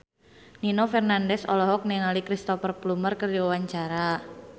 Nino Fernandez olohok ningali Cristhoper Plumer keur diwawancara